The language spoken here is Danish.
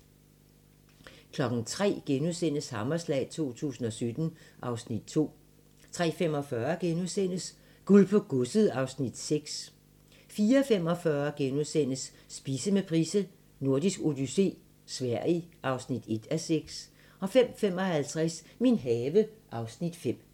03:00: Hammerslag 2017 (Afs. 2)* 03:45: Guld på godset (Afs. 6)* 04:45: Spise med Price: Nordisk odyssé - Sverige (1:6)* 05:55: Min have (Afs. 5)